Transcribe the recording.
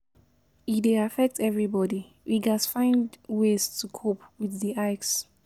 E dey affect everybody; we gats find ways to cope with di hikes.